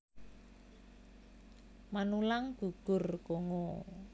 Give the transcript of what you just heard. Manulang gugur Kongo